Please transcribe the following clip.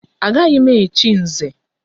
Agaghị m echi Nze!